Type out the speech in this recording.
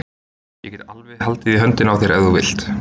Ég get alveg haldið í höndina á þér ef þú vilt!